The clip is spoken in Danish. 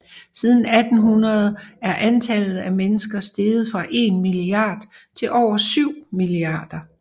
Siden 1800 er antallet af mennesker steget fra en milliard til over syv milliarder